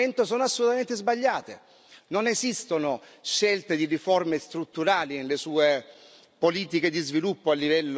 Non esistono scelte di riforme strutturali nelle sue politiche di sviluppo a livello nazionale, anzi il contrario.